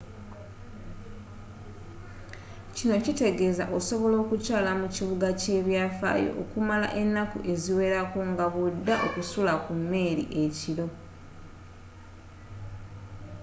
kino kitegeeza osobola okukyaala mu kibuga ky'ebyafaayo okumala ennaku eziwerako nga bw'odda okusula ku mmeeri ekiro